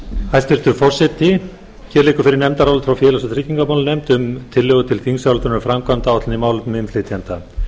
forseti hér liggur fyrir nefndarálit frá frá félags og tryggingamálanefnd um tillögu til þingsályktunar um framkvæmdaáætlun í